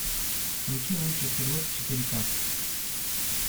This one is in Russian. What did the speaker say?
включи лучший стрелок четыре ка